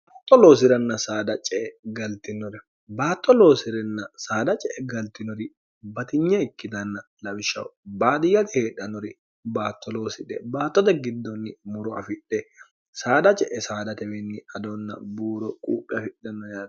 to loosi'ranna saada ce e galtinore baatto loosi'renna saada ce e galtinori batinye ikkitanna lawishshaho baadiyyate heedhanori baatto loosidhe baattote giddonni muro afidhe saada ce'e saadatewinni adonna buuro quuphi afidhanno yaaro